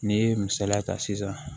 N'i ye misaliya ta sisan